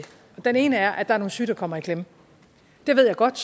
den ene er at der er nogle syge der kommer i klemme det ved jeg godt